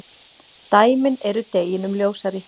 Dæmin eru deginum ljósari.